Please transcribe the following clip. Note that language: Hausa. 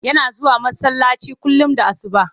Yana zuwa masallaci kullum da asuba.